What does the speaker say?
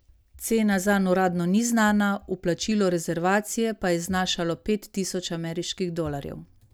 Cena zanj uradno ni znana, vplačilo rezervacije pa je znašalo pet tisoč ameriških dolarjev.